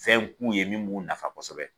Fɛn k'u ye min b'u nafa kosɛbɛ